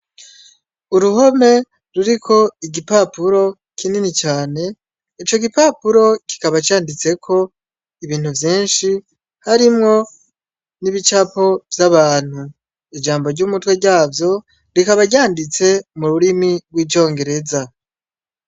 Uruhome ruriko igipapuro kinini cane, ico gipapuro kikaba canditseko ibintu vyinshi, harimwo n'ibicapo vy'abantu. Ijambo ry'umutwe ryavyo rikaba ryanditse mururimi rw'icongereza.